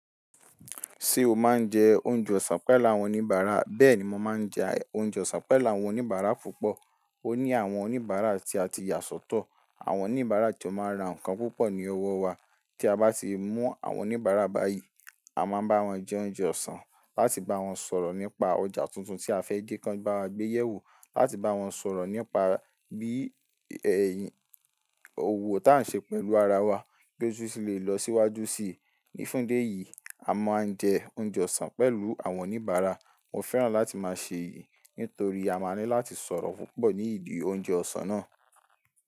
Ṣé o máa ń jẹ oúnjẹ ọ̀sán pẹ̀lú àwọn oníbàárà? Bẹ́ẹ̀ni, mo máa ń jẹ oúnjẹ ọ̀sán pẹ̀lú àwọn oníbàárà púpọ̀. Ó ní àwọn oníbàárà tí a ti yà sọ́tọ̀, àwọn oníbàárà tí ó máa ń ra ǹkan púpọ̀ ní ọwọ́ wa. Tí a bá ti mú àwọn oníbàárà báyìí, a máa bá wọn jẹ oúnjẹ ọ̀sán láti bá wọn sọ̀rọ̀ nípa ọjà tuntun tí a fẹ́ dé kan bá wa gbé yẹ̀ wò, láti bá wọn sọ̀rọ̀ nípa bí ẹ̀yìn òwò tí à ń ṣe pẹ̀lú ara wa gẹ́gẹ́ bí ó ti lè lọ síwájú sì. Ní fún idi eyìí, a máa ń jẹ oúnjẹ ọ̀sán pẹ̀lú àwọn oníbàárà. Mo fẹ́ràn láti máa ṣe èyí nítorí a máa ní láti sọ̀rọ̀ púpọ̀ ní ìdí oúnjẹ ọ̀sán náà.